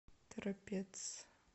торопец